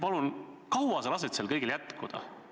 Kui kaua sa lased sellel kõigel jätkuda?